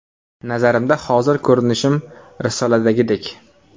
Nazarimda, hozir ko‘rinishim risoladagidek.